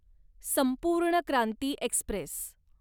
संपूर्ण क्रांती एक्स्प्रेस